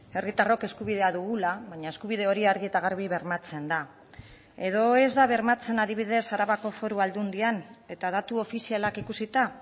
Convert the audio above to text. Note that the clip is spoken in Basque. herritarrok eskubidea dugula baina eskubide hori argi eta garbi bermatzen da edo ez da bermatzen adibidez arabako foru aldundian eta datu ofizialak ikusita